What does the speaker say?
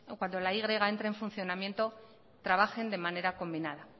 cuando la y entre en funcionamiento trabajen de manera combinada